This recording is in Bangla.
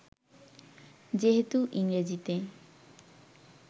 যেহেতু ইংরেজিতে